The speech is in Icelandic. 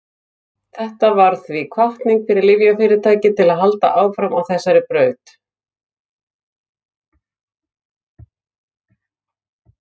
Þetta varð því hvatning fyrir lyfjafyrirtæki til að halda áfram á þessari braut.